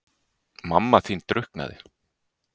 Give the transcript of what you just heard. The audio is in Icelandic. Mamma þín drukknaði.